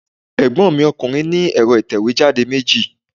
Ègbọ́n mi ọkùnrin ní ẹ̀rọ ìtẹ̀wé jáde meji